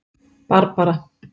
Barbara